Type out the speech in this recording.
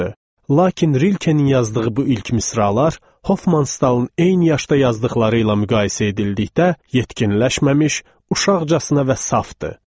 Lakin Rilkenin yazdığı bu ilk misralar Hoffmanstalın eyni yaşda yazdıqları ilə müqayisə edildikdə yetkinləşməmiş, uşaqcasına və safdı.